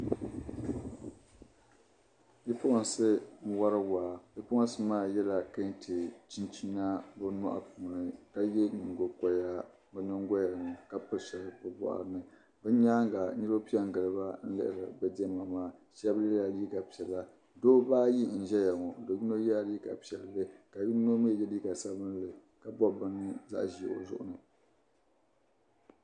Bipuɣinsi n-wari waa bipuɣinsi maa yɛla Kente chinchina bɛ nyɔri ni ka ye nyiŋgokɔriti bɛ nyiŋgoya ni ka piri shɛli bɛ bɔɣiri ni. Bɛ nyaaŋga niriba pe n-gili ba n-lihiri bɛ diɛma maa shɛba yɛla liiga piɛla. Dabba ayi n-zaya ŋɔ do' yino yɛla liiga piɛlli ka yino mi ye liiga sabilinli ka bɔbi bini zaɣ' ʒee o zuɣu ni.